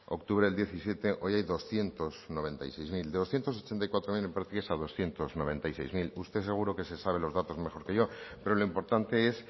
octubre del diecisiete hoy hay doscientos noventa y seis mil de doscientos ochenta y cuatro mil en prácticas a doscientos noventa y seis mil usted seguro que se sabe los datos mejor que yo pero lo importante es